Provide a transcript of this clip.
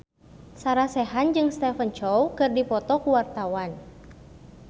Sarah Sechan jeung Stephen Chow keur dipoto ku wartawan